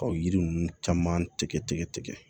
Ka yiri ninnu caman tigɛ tigɛ